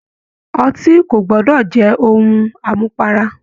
Ọtí ko gbọdọ jẹ ohùn amupara.